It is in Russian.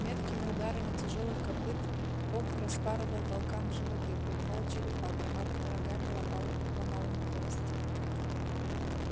меткими ударами тяжёлых копыт огг распарывал волкам животы пробивал черепа громадными рогами ломал им кости